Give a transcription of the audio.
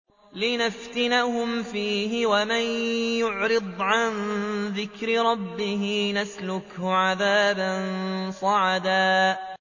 لِّنَفْتِنَهُمْ فِيهِ ۚ وَمَن يُعْرِضْ عَن ذِكْرِ رَبِّهِ يَسْلُكْهُ عَذَابًا صَعَدًا